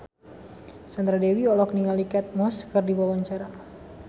Sandra Dewi olohok ningali Kate Moss keur diwawancara